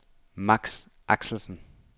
Max Axelsen